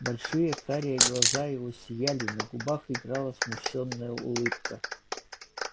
большие карие глаза его сияли на губах играла смущённая улыбка